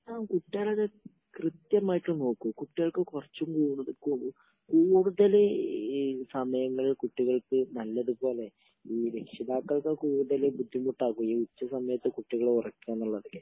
ങാ, കുട്ടികളെയൊക്കെ കൃത്യമായിട്ട് നോക്കും. കുട്ടികൾക്ക് കുറച്ചു കൂടുതൽ സമയങ്ങള് കുട്ടികൾക്ക് നല്ലതുപോലെ...ഈ രക്ഷിതാക്കൾക്ക് കൂടുതൽ ബുദ്ധിമുട്ടാകും.ഈ ഉച്ച സമയത്ത് കുട്ടികളെ ഉറക്കുക എന്നുള്ളതൊക്കെ...